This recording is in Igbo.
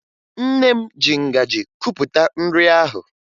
Nne m ji ngaji kupụta nri ahụ